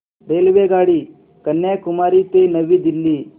रेल्वेगाडी कन्याकुमारी ते नवी दिल्ली